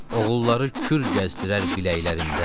Oğulları kür gəzdirər biləklərində.